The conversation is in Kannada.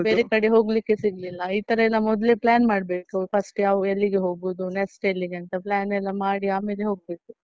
ಬೇರೆಕಡೆ ಹೋಗ್ಲಿಕ್ಕೆ ಸಿಗ್ಲಿಲ್ಲಈತರ ಎಲ್ಲ ಮೊದ್ಲೇ plan ಮಾಡ್ಬೇಕು first ಯಾವ್ಗ ಎಲ್ಲಿಗೆ ಹೋಗೋದು next ಎಲ್ಲಿಗೆ ಅಂತ plan ಎಲ್ಲ ಮಾಡಿ ಆಮೇಲೆ ಹೋಗ್ಬೇಕು.